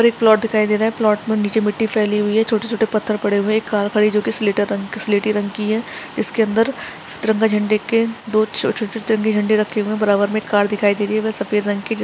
और एक प्लाट दिखाई दे रहा है प्लाट पर नीचे मिट्टी फैली हुई है छोटे -छोटे पत्थर पड़े हुए है एक कार खड़ी है जोकि स्केटर रंग की स्लेटी रंग की है इसके अंदर सतरंगा झंडे के दो छोटे -छोटे झंडे रखे हुए है बराबर में एक कार दिखाई दे रही है वेह सफ़ेद रंग की --